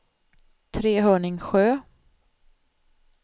Trehörningsjö